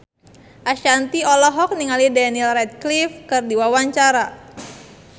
Ashanti olohok ningali Daniel Radcliffe keur diwawancara